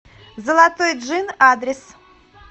золотой джин адрес